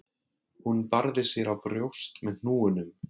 Hún barði sér á brjóst með hnúunum